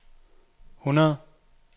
hundrede